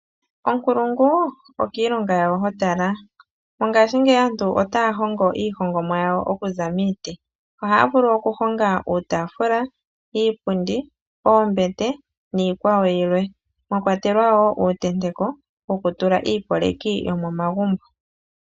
Onkulungu okiilonga yawo ho tala. Mongashingeyi aantu ota ya hongo iihongomwa oku za miiti. Oha ya vulu oku honga iitaafula, iipundi, oombete niikwawo yilwe mwa kwatelwa woo uutenteko woku tula iipoleki yomomagumbo.